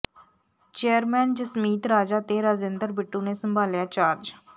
chairman Jasmeet Raja ਤੇ ਰਾਜਿੰਦਰ ਬਿੱਟੂ ਨੇ ਸੰਭਾਲਿਆ ਚਾਰਜ